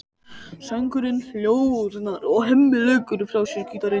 Söngurinn hljóðnar og Hemmi leggur frá sér gítarinn.